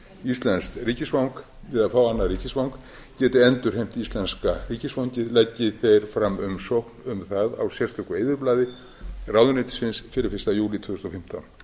íslenskt ríkisfang við að fá annað ríkisfang geti endurheimt íslenska ríkisfangið leggi þeir umsókn um það á sérstöku eyðublaði ráðuneytisins fyrir fyrsta júlí tvö þúsund og fimmtán